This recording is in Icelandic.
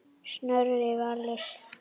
Snorri Valur.